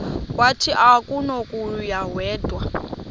wathi akunakuya wedw